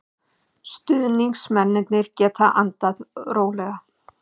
Stuðningsmennirnir geta andað rólega.